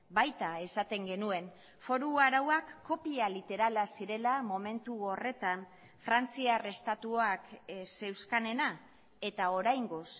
baita esaten genuen foru arauak kopia literala zirela momentu horretan frantziar estatuak zeuzkanena eta oraingoz